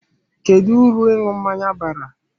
Kedu uru ịṅụ mmanya bara?